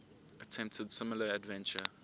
attempted similar adventure